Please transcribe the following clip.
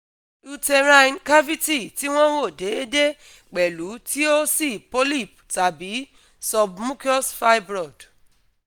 Uterine cavity ti won wo deedee pelu ti o si polyp tabi submucous fibroid